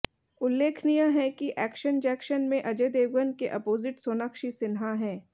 उल्लेखनीय है कि एक्शन जैक्शन में अजय देवगन के अपोजिट सोनाक्षी सिन्हा है